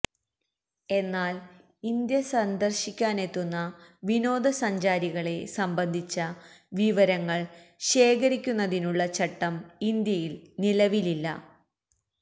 എന്നാല് ഇന്ത്യ സന്ദര്ശിക്കാനെത്തുന്ന വിനോദസഞ്ചാരികളെ സംബന്ധിച്ച വിവരങ്ങള് ശേഖരിക്കുന്നതിനുള്ള ചട്ടം ഇന്ത്യയില് നിലവിലില്ല